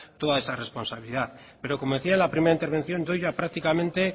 toda esa responsabilidad pero como decía en la primera intervención doy ya prácticamente